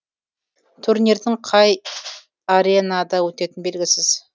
турнирдің қай аренада өтетіні белгісіз